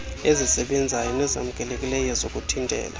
ezisebenzayo nezamkelekileyo zokuthintela